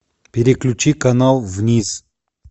переключи канал вниз